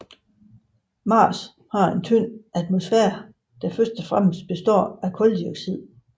Mars har en tynd atmosfære der primært består af kuldioxid